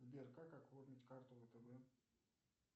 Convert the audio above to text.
сбер как оформить карту втб